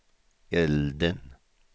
elden